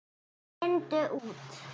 Lindu út.